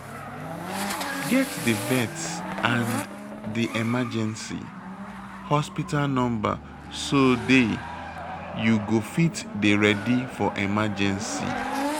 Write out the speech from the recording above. Get di vet and di emergency hospital number so day you go fit dey ready for emergency